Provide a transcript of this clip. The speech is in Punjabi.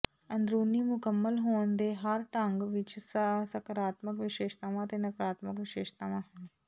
ਅੰਦਰੂਨੀ ਮੁਕੰਮਲ ਹੋਣ ਦੇ ਹਰ ਢੰਗ ਵਿੱਚ ਸਕਾਰਾਤਮਕ ਵਿਸ਼ੇਸ਼ਤਾਵਾਂ ਅਤੇ ਨਕਾਰਾਤਮਕ ਵਿਸ਼ੇਸ਼ਤਾਵਾਂ ਹਨ